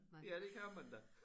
Ja det kan man da